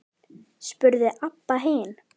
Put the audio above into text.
spurði Abba hin.